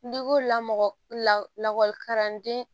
lakɔlikaradenw